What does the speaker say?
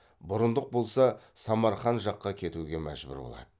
бұрындық болса самарқан жаққа кетуге мәжбүр болады